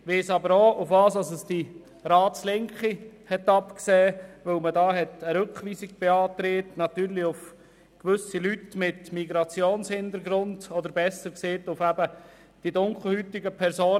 Ich weiss aber auch, worauf es die Ratslinke abgesehen hat, indem sie da eine Rückweisung beantragt hat: natürlich auf gewisse Leute mit Migrationshintergrund oder besser gesagt auf die dunkelhäutigen Personen.